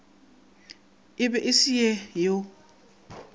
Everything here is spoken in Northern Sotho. e be e se yo